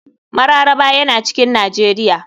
Mararaba yana cikin nijar.